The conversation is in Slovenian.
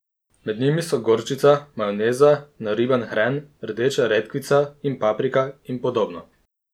Med njimi so gorčica, majoneza, nariban hren, rdeča redkvica in paprika, in podobno.